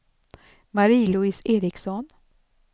Marie-Louise Ericson